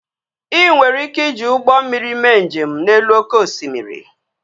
Ị nwere ike iji ụgbọ mmiri mee njem n'elu oké osimiri